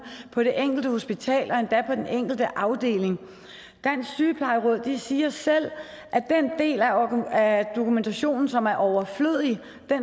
på det enkelte hospital og endda på den enkelte afdeling dansk sygeplejeråd siger selv at den del af dokumentationen som er overflødig